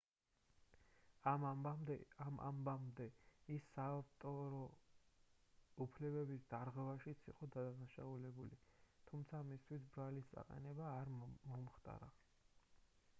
ამ ამბამდე ის საავტორო უფლებების დარღვევაშიც იყო დადანაშაულებული თუმცა მისთვის ბრალის წაყენება არ მომხდარა